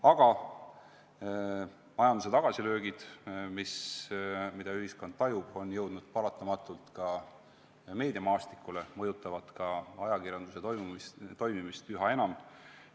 Aga majanduse tagasilöögid, mida ühiskond tajub, on jõudnud paratamatult ka meediamaastikule, need mõjutavad ka ajakirjanduse toimimist üha enam.